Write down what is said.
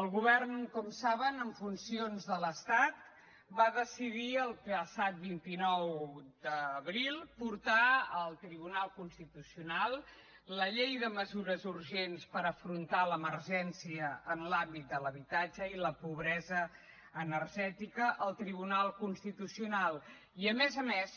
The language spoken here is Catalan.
el govern com saben en funcions de l’estat va decidir el passat vint nou d’abril portar al tribunal constitucional la llei de mesures urgents per afrontar l’emergència en l’àmbit de l’habitatge i la pobresa energètica al tribunal constitucional i a més a més